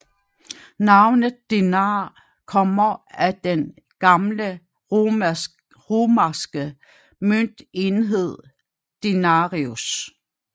Navnet denar kommer af den gamle romerske møntenhed denarius